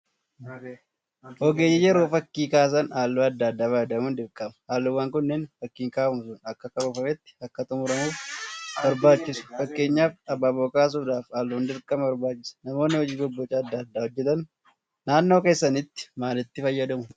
Ogeeyyiin yeroo fakkii kaasan halluu adda addaa fayyadamuun dirqama. Halluuwwan kunneen fakkiin kaafamu sun akka karoorfametti akka xummuramuuf barbaachisu. Fakkeenyaaf Abaaboo kaasuudhaaf halluun dirqama barbaachisa. Namoonni hojii bobboca adda addaa hojjetan naannoo keessanitti maalitti fayyadamu?